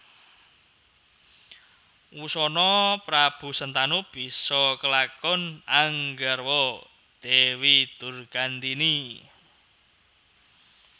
Wusana Prabu Sentanu bisa kelakon anggarwa Dewi Durgandini